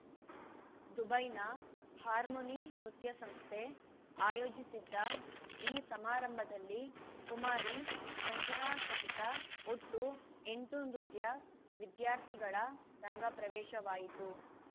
ದುಬೈನ ಹಾರ್ಮನಿ ನೃತ್ಯ ಸಂಸ್ಥೆ ಆಯೋಜಿಸಿದ್ದ ಈ ಸಮಾರಂಭದಲ್ಲಿ ಕುಸಂಜನಾ ಸಹಿತ ಒಟ್ಟು ಎಂಟು ನೃತ್ಯ ವಿದ್ಯಾರ್ಥಿಗಳ ರಂಗಪ್ರವೇಶವಾಯಿತು